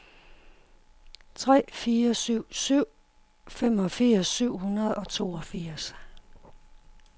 tre fire syv syv femogfirs syv hundrede og toogfirs